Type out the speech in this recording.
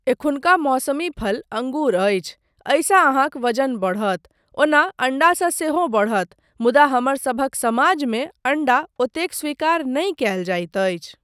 एखुनका मौसमी फल अँगूर अछि, एहिसँ अहाँक वजन बढ़त, ओना अण्डासँ सेहो बढ़त मुदा हमरसभक समाजमे अण्डा ओतेक स्वीकार नहि कयल जाइत अछि।